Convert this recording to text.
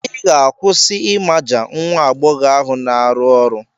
Ị ga-akwụsị ịmaja nwa agbọghọ ahụ na-arụ ọrụ.